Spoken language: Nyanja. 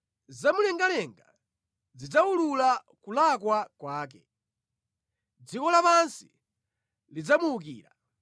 Zamumlengalenga zidzawulula kulakwa kwake; dziko lapansi lidzamuwukira.